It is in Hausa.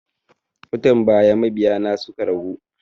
Watan baya mabiya na suka ragu